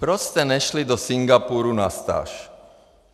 Proč jste nešli do Singapuru na stáž?